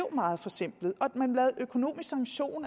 meget forsimplede